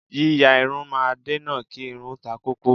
Yíya irun máa ń dènà kí irun takókó.